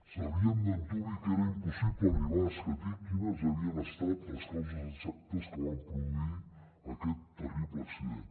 sabíem d’antuvi que era impossible arribar a escatir quines havien estat les causes exactes que van produir aquest terrible accident